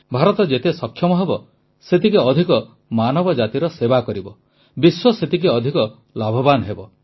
ଭାରତ ଯେତେ ସକ୍ଷମ ହେବ ସେତିକି ଅଧିକ ମାନବଜାତିର ସେବା କରିବ ବିଶ୍ୱ ସେତେ ଅଧିକ ଲାଭବାନ ହେବ